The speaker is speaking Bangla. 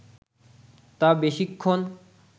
তা বেশিক্ষণ